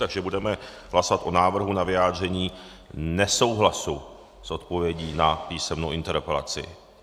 Takže budeme hlasovat o návrhu na vyjádření nesouhlasu s odpovědí na písemnou interpelaci.